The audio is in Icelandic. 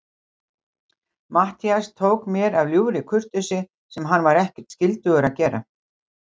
Matthías tók mér af ljúfri kurteisi, sem hann var ekkert skyldugur að gera.